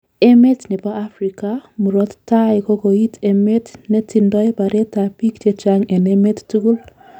Emet nebo Afrika murot taii kokoik emet netindoi baret ab biik chechang en emet tukul